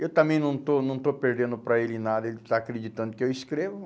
Eu também não estou não estou perdendo para ele nada, ele está acreditando que eu escrevo.